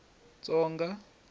tsonga